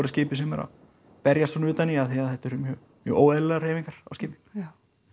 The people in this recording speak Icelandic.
skipi sem er að berjast svona utan í af því að þetta eru mjög óeðlilegar hreyfingar á skipi já